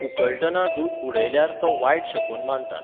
उकळटना दूद उडयल्यार तो वायट शकून मानतात